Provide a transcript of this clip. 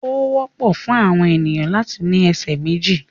Ó wọ́pọ̀ fún àwọn ènìyàn láti ní ẹsẹ̀ méjì.